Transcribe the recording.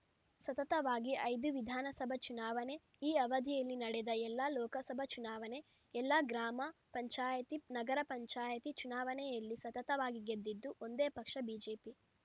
ಸತತವಾಗಿ ಐದು ವಿಧಾನಸಭಾ ಚುನಾವಣೆ ಈ ಅವಧಿಯಲ್ಲಿ ನಡೆದ ಎಲ್ಲಾ ಲೋಕಸಭಾ ಚುನಾವಣೆ ಎಲ್ಲಾ ಗ್ರಾಮ ಪಂಚಾಯತಿ ನಗರ ಪಂಚಾಯತಿ ಚುನಾವಣೆಯಲ್ಲಿ ಸತತವಾಗಿ ಗೆದ್ದಿದ್ದು ಒಂದೇ ಪಕ್ಷ ಬಿಜೆಪಿ